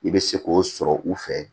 I bɛ se k'o sɔrɔ u fɛ